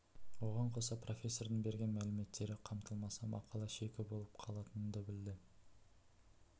оған қоса профессордың берген мәліметтері қамтылмаса мақала шикі болып қалатынын да білді